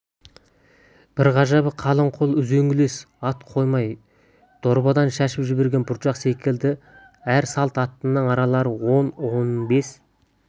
бір ғажабы қалың қол үзеңгілесе ат қоймай дорбадан шашып жіберген бұршақ секілді әр салт аттының аралары он-он бес